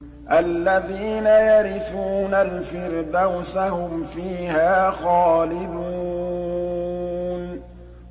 الَّذِينَ يَرِثُونَ الْفِرْدَوْسَ هُمْ فِيهَا خَالِدُونَ